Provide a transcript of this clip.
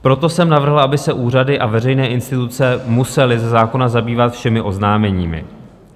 Proto jsem navrhl, aby se úřady a veřejné instituce musely ze zákona zabývat všemi oznámeními.